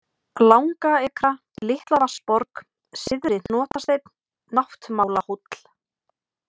Langaekra, Litlavatnsborg, Syðri-Hnotasteinn, Náttmálahóll